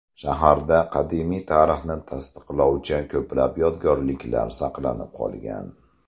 Shaharda qadimiy tarixni tasdiqlovchi ko‘plab yodgorliklar saqlanib qolgan.